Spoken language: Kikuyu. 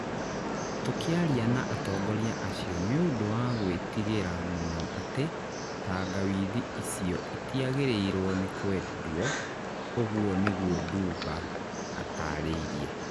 Tũkĩaria na atongoria acio nĩ ũndũ wa gwĩtigĩra mũno atĩ tangawithi icio itiagĩrĩirũo nĩ kwendwo", ũguo nĩguo Duba atarĩirie.